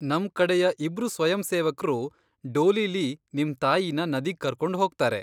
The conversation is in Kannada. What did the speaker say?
ನಮ್ ಕಡೆಯ ಇಬ್ರು ಸ್ವಯಂಸೇವಕ್ರು ಡೋಲಿಲಿ ನಿಮ್ ತಾಯಿನ ನದಿಗ್ ಕರ್ಕೊಂಡ್ ಹೋಗ್ತಾರೆ.